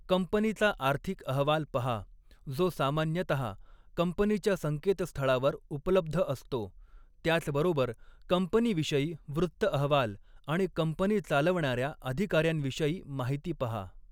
कंपनीचा आर्थिक अहवाल पहा, जो सामान्यतः कंपनीच्या संकेतस्थळावर उपलब्ध असतो, त्याचबरोबर कंपनीविषयी वृत्त अहवाल आणि कंपनी चालवणाऱ्या अधिकाऱ्यांविषयी माहिती पहा.